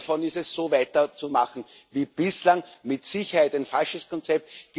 Einer davon ist es, so weiterzumachen wie bislang mit Sicherheit ein falsches Konzept.